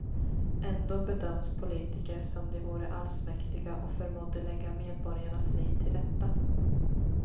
Ändå bedöms politiker som de vore allsmäktiga och förmådde lägga medborgarnas liv till rätta.